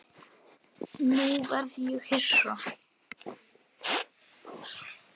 Nú verð ég hissa.